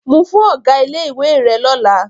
Mu fún ọ̀gá ilé-ìwé rẹ lọ́la.